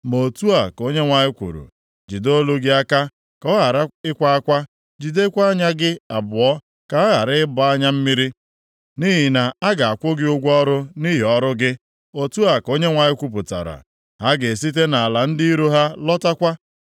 Ma otu a ka Onyenwe anyị kwuru, “Jide olu gị aka, ka ọ ghara ịkwa akwa, jidekwa anya gị abụọ, ka ha ghara ịgba anya mmiri, nʼihi na a ga-akwụ gị ụgwọ ọrụ nʼihi ọrụ gị.” Otu a ka Onyenwe anyị kwupụtara. “Ha ga-esite nʼala ndị iro ha lọtakwa.